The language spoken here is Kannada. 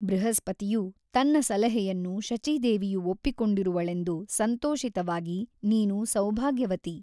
ಬೃಹಸ್ಪತಿಯು ತನ್ನ ಸಲಹೆಯನ್ನು ಶಚೀದೇವಿಯು ಒಪ್ಪಿಕೊಂಡಿರುವಳೆಂದು ಸಂತೋಷಿತವಾಗಿ ನೀನು ಸೌಭಾಗ್ಯವತಿ.